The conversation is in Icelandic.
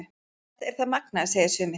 Þetta er það magnaða, segja sumir.